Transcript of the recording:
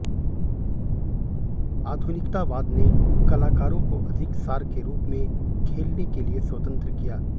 आधुनिकतावाद ने कलाकारों को अधिक सार के रूप में खेलने के लिए स्वतंत्र किया